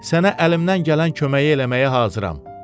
Sənə əlimdən gələn köməyi eləməyə hazıram.